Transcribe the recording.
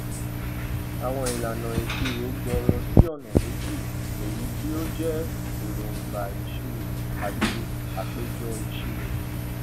àwọn ìlànà ìṣirò gbòòrò sí ọnà meji èyí tí ó jẹ èróńgbà ìṣirò àti àpéjọ ìṣirò